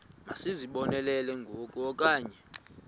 masizibonelele ngoku okanye